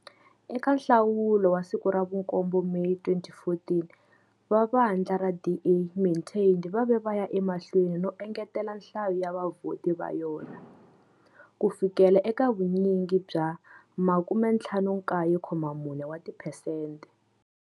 Eka nhlawulo wa ti 7 Meyi 2014 va vandla ra DA maintained va ve vaya emahlweni no ngetela nhlayo ya vavhoti va yona, ku fikela eka vunyingi bya 59.4 percent.